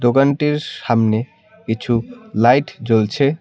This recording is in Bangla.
দোকানটির সামনে কিছু লাইট জ্বলছে।